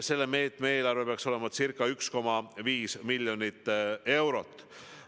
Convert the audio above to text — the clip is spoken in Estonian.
Selle meetme eelarve peaks olema ca 1,5 miljonit eurot.